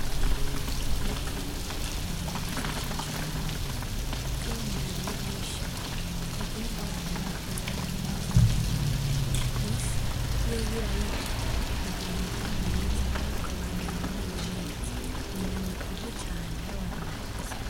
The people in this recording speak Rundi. Ifi, n' inyama nziza cane kuko iyo umuntu ariye nyinshi ntagira ingorane yamagara nkizindi nyama, ifi yoyo urayirya ukagira amagara meza ukabandanya umerewe neza, n' inyama ikunzwe cane n'abantu bakuze.